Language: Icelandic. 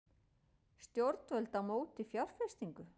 Stjórnvöld á móti fjárfestingu